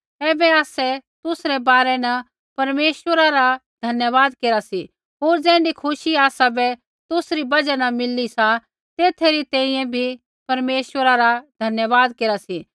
ऐबै आसै तुसरै बारै न परमेश्वरा रा धन्यवाद केरा सी होर ज़ैण्ढी खुशी आसाबै तुसरी बजहा न मिली सा तेथा री तैंईंयैं बी परमेश्वरा रा धन्यवाद केरा सी